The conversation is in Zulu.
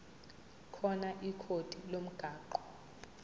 khona ikhodi lomgwaqo